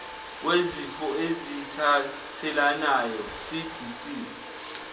wezifo ezithathelanayo cdc